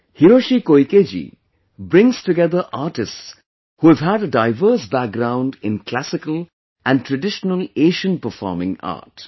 Hiroshi Koikeji brings together artists who have had a diverse background in Classical and Traditional Asian Performing Art